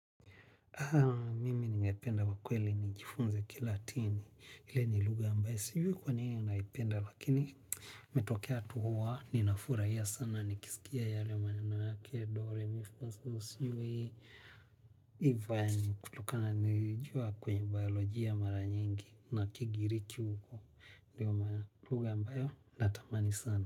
Mimi ningependa kwa kweli nijifunze kilatini, hii ni lugha ambayo, sijui kwa nini ninaipenda, lakini ikitokea tu huwa, ninafurahia sana, nikisikia yale maneno yake, dore, mi, fa, so, sijui ivan, kutokana nilijua kwenye biolojia mara nyingi, na kigiriki huko, ndio maana ni luga mbae, natamani sana.